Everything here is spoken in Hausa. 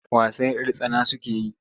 Wasan 'yar tsana suke yi.